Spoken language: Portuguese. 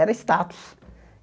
Era status.